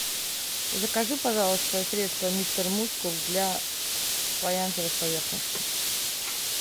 закажи пожалуйста средство мистер мускул для фаянсовых поверхностей